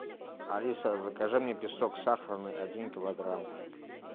алиса закажи мне песок сахарный один килограмм